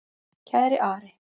Kæri Ari.